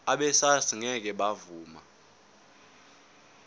abesars ngeke bavuma